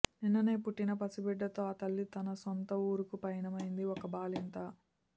నిన్ననే పుట్టిన పసి బిడ్డతో ఆ తల్లి తన సొంత ఊరుకు పయనమైంది ఒక బాలింత